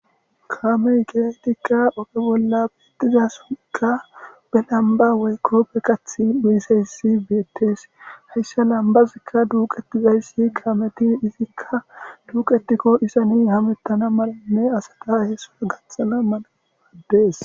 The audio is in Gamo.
Kaamey ba lambba duqqishe dizayssi bettes.